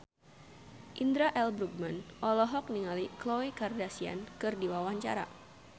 Indra L. Bruggman olohok ningali Khloe Kardashian keur diwawancara